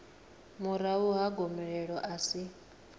murahu ha gomelelo a si